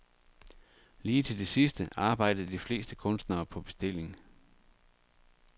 Lige til det sidste arbejdede de fleste kunstnere på bestilling.